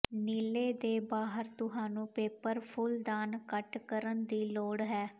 ਨੀਲੇ ਦੇ ਬਾਹਰ ਤੁਹਾਨੂੰ ਪੇਪਰ ਫੁੱਲਦਾਨ ਕੱਟ ਕਰਨ ਦੀ ਲੋੜ ਹੈ